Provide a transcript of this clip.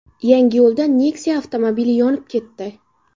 Yangiyo‘lda Nexia avtomobili yonib ketdi.